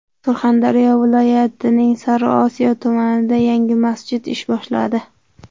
Surxondaryo viloyatining Sariosiyo tumanida yangi masjid ish boshladi.